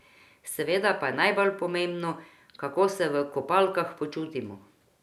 Seveda pa je najbolj pomembno, kako se v kopalkah počutimo.